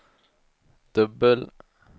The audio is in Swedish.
dubbel